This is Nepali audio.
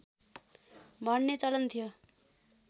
भन्ने चलन थियो